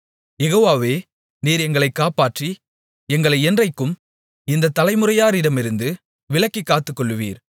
யெகோவாவே நீர் எங்களைக் காப்பாற்றி எங்களை என்றைக்கும் இந்த தலைமுறையாரிடமிருந்து விலக்கிக் காத்துக்கொள்ளுவீர்